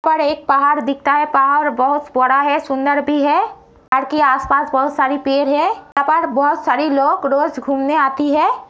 पर एक पहाड़ दिखता है पहाड़ बहोत बड़ा-स् है सुंदर भी है। ड् की आस-पास बहुत सारी पेर है। यहां पर बहुत सारी लोग रोज घूमने आती है।